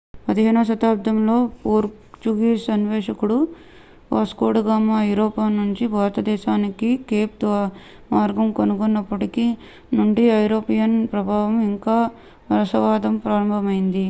15వ శతాబ్దంలో పోర్చుగీస్ అన్వేషకుడు వాస్కోడగామా ఐరోపా నుండి భారతదేశానికి కేప్ మార్గం కనుగొన్నప్పటి నుండి యూరోపియన్ ప్రభావము ఇంకా వలసవాదం ప్రారంభమైంది